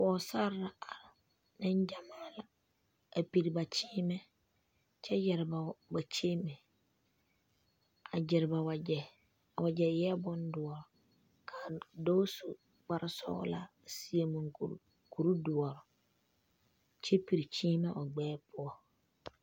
Pɔgesare la are nengyamaa la a piri ba kyeemɛ kyɛ yɛre ba kyeemɛ a gyere ba wagyɛ a wagyɛ eɛ bondoɔ ka a dɔɔ su kparesɔglaa a seɛ mɔnkuri kuridoɔ kyɛ piri kyeemɛ o gbɛɛ poɔ.